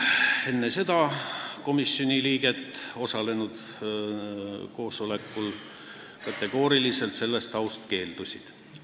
Enne seda keeldusid kolm koosolekul osalenud komisjoni liiget sellest aust kategooriliselt.